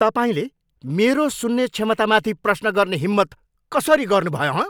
तपाईँले मेरो सुन्ने क्षमतामाथि प्रश्न गर्ने हिम्मत कसरी कसरी गर्नुभयो, हँ?